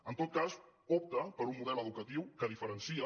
en tot cas opta per un model educatiu que diferencia